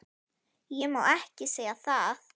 Ég má ekki segja það